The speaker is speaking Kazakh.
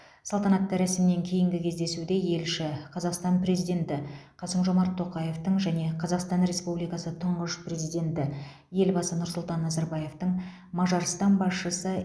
салтанатты рәсімнен кейінгі кездесуде елші қазақстан президенті қасым жомарт тоқаевтың және қазақстан республикасы тұңғыш президенті елбасы нұрсұлтан назарбаевтың мажарстан басшысы